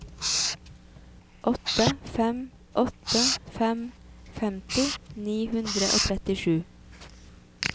åtte fem åtte fem femti ni hundre og trettisju